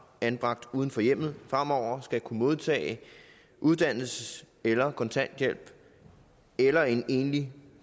anbragt uden for hjemmet fremover skal kunne modtage uddannelses eller kontanthjælp eller et enlig